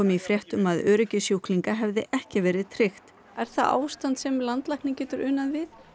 í fréttum að öryggi sjúklinga hefði ekki verið tryggt er það ástand sem landlæknir getur unað við